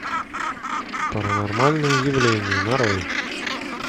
паранормальное явление нарой